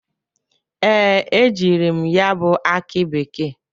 Ee, ejiri m ya bụ akị bekee.